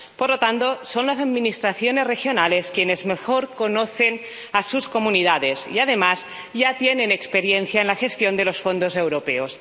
Por lo tanto, son las administraciones regionales quienes mejor conocen a sus comunidades y, además, ya tienen experiencia en la gestión de los fondos europeos.